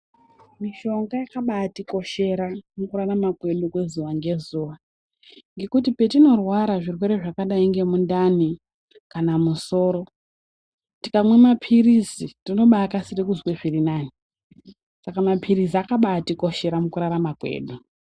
Mishonga yakabatikoshera mukurarama kwedu kwezuwa ngezuwa ngekuti petinorwara zvirwere zvakadayi ngemundani kana musoro tikamwe mapirizi tinobakasira kuzwe zvirinane saka mapirizi akabatikoshera mukurarama kwedu.